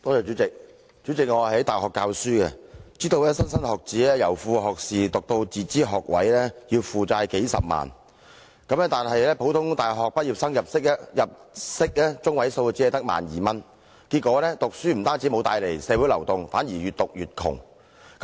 主席，我在大學教書，知道莘莘學子由副學士學位升讀自資學位，要負債數十萬元，但普通大學畢業生的入息中位數只有 12,000 元，結果讀書不但無法令他們向上流動，反而越讀越窮。